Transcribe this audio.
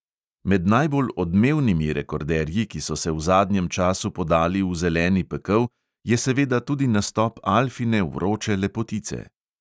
Med najbolj odmevnimi rekorderji, ki so se v zadnjem času podali v zeleni pekel, je seveda tudi nastop alfine vroče lepotice.